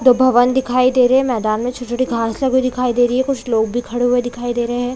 दो भवन दिखाई दे रहे है मैदान मे छोटे-छोटे घाँस लगे हुए दिखाई दे रही है कुछ लोग भी खड़े हुए दिखाई दे रहे है।